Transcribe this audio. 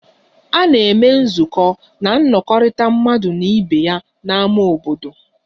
A na-eme nzukọ na nnọkọ mmekọrịta mmadụ na ibe ya na ámá obodo